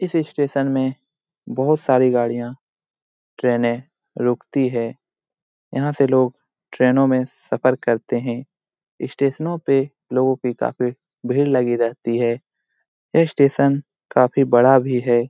इस स्टेशन में बोहोत सारी गड़िया ट्रेने रुकती है। यहाँ से लोग ट्रेनों में सफर करते है। इस स्टेशनों में लोगों की काफी भीड़ लगी रहती है। ये स्टेशन काफी बड़ा भी है।